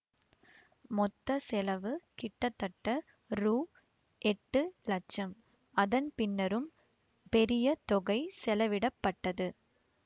மொத்த செலவு கிட்டத்தட்ட ரூ எட்டு லட்சம் அதன் பின்னரும் பெரிய தொகை செலவிடப்பட்டது